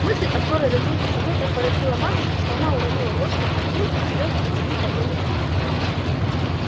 мысль о скорой разлуке со мною так поразила матушку что она уронила ложку в кастрюльку и слёзы потекли по её лицу